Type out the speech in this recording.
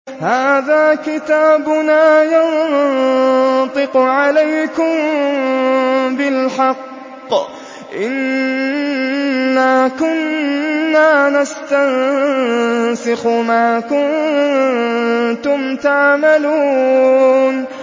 هَٰذَا كِتَابُنَا يَنطِقُ عَلَيْكُم بِالْحَقِّ ۚ إِنَّا كُنَّا نَسْتَنسِخُ مَا كُنتُمْ تَعْمَلُونَ